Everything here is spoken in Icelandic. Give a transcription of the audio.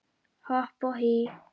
Hopp og hí